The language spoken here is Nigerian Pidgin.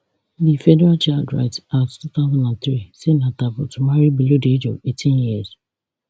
di federal child rights act two thousand and three say na taboo to to marry below di age of eighteen years